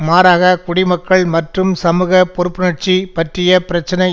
மாறாக குடிமக்கள் மற்றும் சமுகப் பொறுப்புணர்ச்சி பற்றிய பிரச்சினை